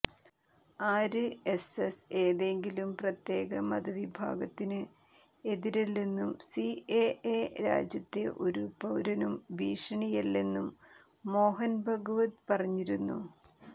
RSS ഏതെങ്കിലും പ്രത്യേക മതവിഭാഗത്തിന് എതിരല്ലെന്നും സിഎഎ രാജ്യത്തെ ഒരു പൌരനും ഭീഷണിയല്ലെന്നും മോഹന് ഭാഗവത് പറഞ്ഞിരുന്നു